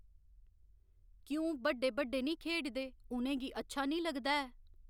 क्यों बड्डे बड्डे निं खेढदे उ'नें गी अच्छा निं लगदा ऐ